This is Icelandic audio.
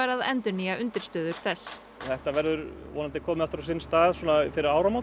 að endurnýja undirstöður þess þetta verður vonandi komið aftur á sinn stað fyrir áramót